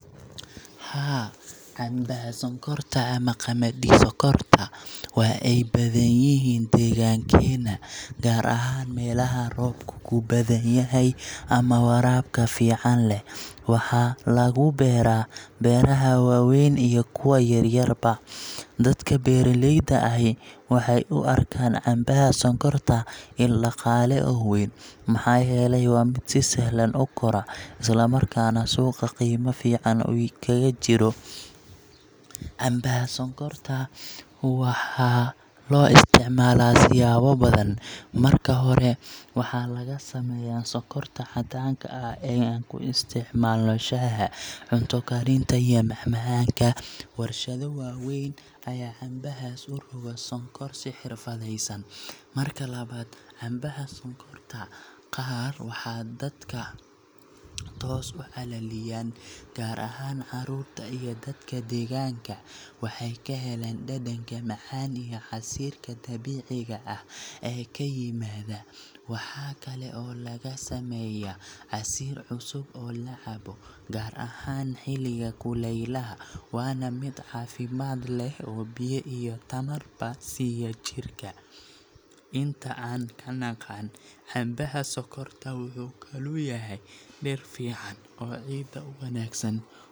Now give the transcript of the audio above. Haa, canbaha sonkorta ama qamadi sonkorta waa ay badan yihiin deegaankeena, gaar ahaan meelaha roobku ku badan yahay ama waraabka fiican leh. Waxaa lagu beeraa beeraha waaweyn iyo kuwa yar-yarba. Dadka beeraleyda ahi waxay u arkaan canbaha sonkorta il dhaqaale oo weyn, maxaa yeelay waa mid si sahlan u kora, isla markaana suuqa qiimo fiican kaga jiro. Canbaha sonkorta waxaa loo isticmaalaa siyaabo badan. Marka hore, waxaa laga sameeyaa sonkorta caddaanka ah ee aan ku isticmaalno shaaha, cunto karinta, iyo macmacaanka. Warshado waaweyn ayaa canbahaas u roga sonkor si xirfadeysan. Marka labaad, canbaha sonkorta qaar waxaa dadku toos u calaliyaan, gaar ahaan caruurta iyo dadka deegaanka – waxay ka helaan dhadhanka macaan iyo casiirka dabiiciga ah ee ka yimaada. Waxaa kale oo laga sameeyaa casiir cusub oo la cabo, gaar ahaan xilliga kulaylaha, waana mid caafimaad leh oo biyo iyo tamarba siiya jirka. Inta aan ka naqaan, canbaha sonkorta wuxuu kaloo yahay dhir fiican oo ciidda u wanaagsan, wuxuuna ka mid yahay dalagyada dhaqaalaha kor u qaada haddii si wanaagsan loo beero loona suuq geeyo.